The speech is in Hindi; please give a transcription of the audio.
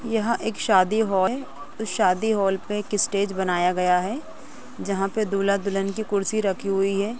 यहाँ एक शादी हॉल हैं उस शादी हॉल पे एक स्टेज बनाया गया हैं जहाँ पे दूल्हा दुल्हन की कुर्सी रखी हुई हैं।